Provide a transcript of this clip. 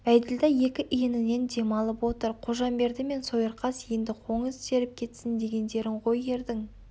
бәйділда екі иінінен дем алып отыр қожамберді мен сойырқас енді қоңыз теріп кетсін дегендерің ғой ердің